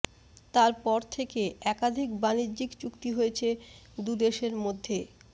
তার পর থেকে একাধিক বাণিজ্যিক চুক্তি হয়েছে দুদেশের মধ্যে